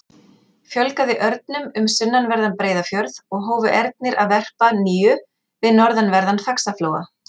Fjölgaði örnum um sunnanverðan Breiðafjörð og hófu ernir að verpa að nýju við norðanverðan Faxaflóa.